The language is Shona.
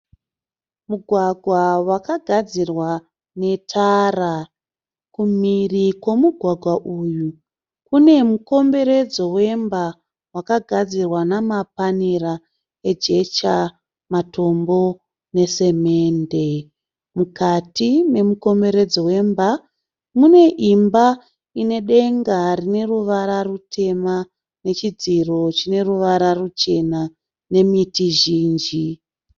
Mugwagwa wakagadzirwa netara. Kumhiri kwemugwagwa uyu kune mukomberedzo wemba wakagadzirwa namapanera ejecha, matombo nesemende. Mukati memukomberedzo wemba mune imba ine denga rine ruvara rutema nechidziro chine ruvara ruchena nemiti zhinji